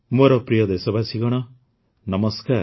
ମୋର ପ୍ରିୟ ଦେଶବାସୀଗଣ ନମସ୍କାର